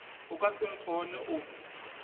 o ka se nkgone o